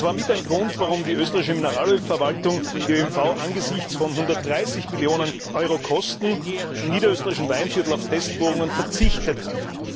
Das war mit ein Grund, warum die Österreichische Mineralölverwaltung, die ÖMV, angesichts von 130 Millionen Euro Kosten im niederösterreichischen Weinviertel auf Testbohrungen verzichtet hat.